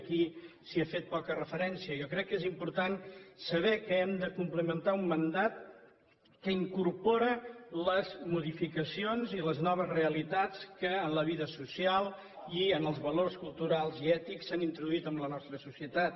aquí s’hi ha fet poca referència jo crec que és important saber que hem de complimentar un mandat que incorpora les modificacions i les noves realitats que en la vida social i en els valors culturals i ètics s’han introduït en la nostra societat